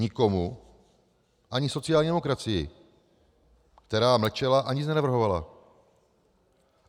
Nikomu, ani sociální demokracii, která mlčela a nic nenavrhovala.